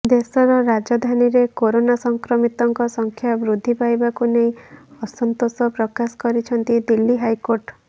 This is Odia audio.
ଦେଶର ରାଜଧାନୀରେ କରୋନା ସଂକ୍ରମିତଙ୍କ ସଂଖ୍ୟା ବୃଦ୍ଧି ପାଇବାକୁ ନେଇ ଅସନ୍ତୋଷ ପ୍ରକାଶ କରିଛନ୍ତି ଦିଲ୍ଲୀ ହାଇକୋର୍ଟ